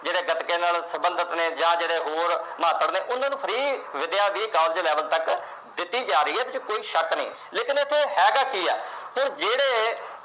ਜਿਹੜੇ ਗੱਤਕੇ ਨਾਲ ਸੰਬੰਧਤ ਨੇ ਜਾਂ ਜਿਹੜੇ ਹੋਰ ਮਾਧੜ ਨੇ ਉਨ੍ਹਾਂ ਨੂੰ free ਵਿੱਦਿਆ ਦੀ ਕਾਲਜ level ਤੱਕ ਦਿਤੀ ਜਾ ਰਹੀ ਐ ਇਸ ਵਿਚ ਕੋਈ ਸ਼ੱਕ ਨਹੀਂ ਲੇਕਿਨ ਇਥੇ ਹੈਗਾ ਕੀ ਆ